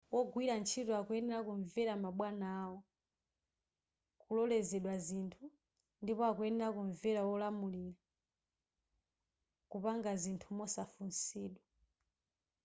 wogwira ntchito akuyenera kumvera mabwana awo kulolezedwa zinthu ndipo akuyenera kumvera wowalamulira kupanga zinthu mosafunsidwa